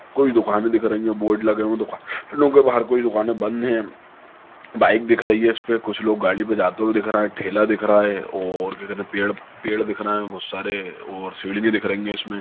कोई दुकानें दिख रही हैं बोर्ड लगे हुए दुकानों के बाहर कोई दुकानें बंद हैं बाइक दिख रही है इस पे कुछ लोग गाड़ी पर जाते हुए दिख रहे है ठेला दिख रहा है और क्या कहते है पेड़ पेड़ दिख रहे है बहुत सारे और सीढ़ी भी दिख रही है इसमें।